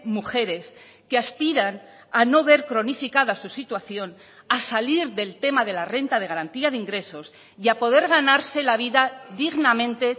mujeres que aspiran a no ver cronificada su situación a salir del tema de la renta de garantía de ingresos y a poder ganarse la vida dignamente